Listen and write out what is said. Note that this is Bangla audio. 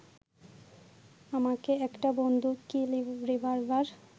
আমাকে একটা বন্দুক কি রিভলবার